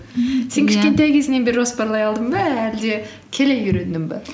кішкентай кезіңнен бері жоспарлай алдың ба әлде келе үйрендің бе